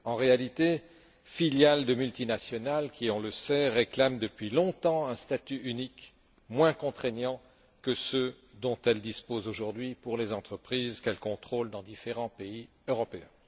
En réalité, filiales de multinationales qui, on le sait, réclament depuis longtemps un statut unique moins contraignant que ceux dont elles disposent aujourd'hui pour les entreprises qu'elles contrôlent dans différents pays européens.